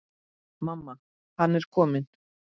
Mamma, hann er kominn!